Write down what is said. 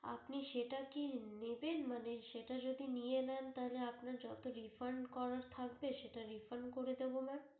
আপনি সেটা কি নেবেন? মানে সেটা যদি নিয়ে নেন তাহলে আপনার যত refund করার থাকবে সেটা refund করে দেব mam